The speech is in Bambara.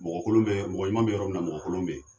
Mɔgɔ kolon be, mɔgɔ ɲuman be yɔrɔ min na mɔgɔ kolon be yen.